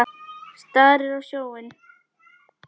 Starir á sjóinn.